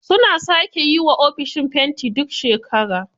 Suna sake yiwa ofishin fenti duk shekara.